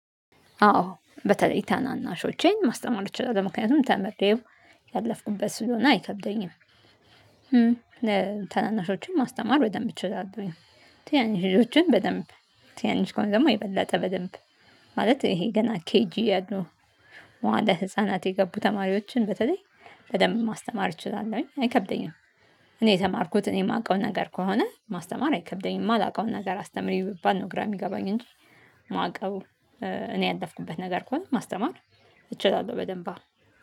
አዎ በተለይ ታናናሾቼን ማስተማር እችላለሁ ምክንያቱም ተምሬው ያለፍኩበት ስለሆነ አይከብደኝም። ታናናሾችን ማስተማር በደንብ እችላለሁኝ። ትናንሽ ልጆችን በደንብ ትናንሽ ከሆኑ ደግሞ የበለጠ በደንብ ማለት ይሄ ገና ኬጂ ያሉ መዋለ ህፃናት የገቡ ተማሪዎችን በተለይ በደንብ ማስተማር እችላለሁኝ አይከብደኝም። እኔ የተማርኩት እኔ የማውቀው ነገር ከሆነ ማስተማር አይከብደኝም የማላውቀውን ነገር አስተምሪ ብባል ነው ግራ የሚገባኝ እንጂ። ማቀው እኔ ያለፍኩበት ነገር ከሆነ ማስተማር እችላለሁ በደንብ።